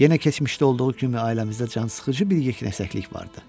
Yenə keçmişdə olduğu kimi ailəmizdə cansıxıcı bir yeknəsəklik vardı.